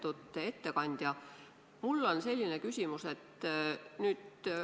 Lugupeetud ettekandja, mul on selline küsimus.